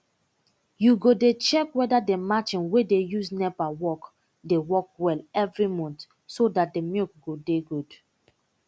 u go dey check weda d marchin wey dey use nepa work dey work well every month so dat d milk go dey good